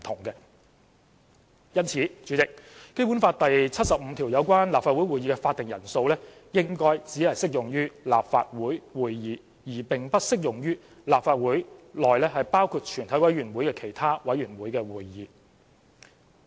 因此，《基本法》第七十五條有關立法會會議的會議法定人數應該只適用於立法會會議，而並不適用於立法會內包括全委會在內的其他委員會會議。